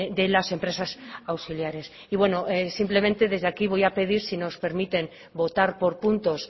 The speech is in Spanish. de las empresas auxiliares y bueno simplemente desde aquí voy a pedir si nos permiten votar por puntos